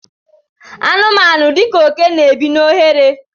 anụmanụ dika oke n'ebi n' oghere